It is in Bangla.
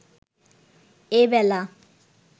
এবেলা